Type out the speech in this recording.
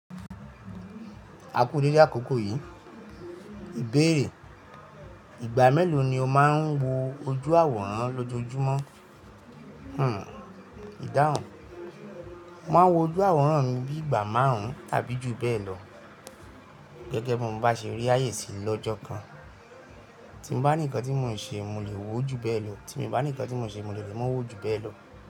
A kú dédé àkókò yìí. Ìbéèrè, ìgbà mélòó ni o máa ń wo ojú àwòrán lọ́jójúmọ́? Hmm ìdáhùn, mo maa ń wo ojú àwòrán mi bí i ìgbà márùn-ún tàbí jù bẹ́ẹ̀ lọ. Gẹ́gẹ́ bí mo bá ṣe rí ààyè sí lọ́jọ́ kan. Tí n bá ní ǹkan tí mò ń ṣe mo lè wó ju bẹ́ẹ̀ lọ, tí mi bá ní ǹkan tí mò ń ṣe, mo dè lè mo wó ju bẹ́ẹ̀ lọ.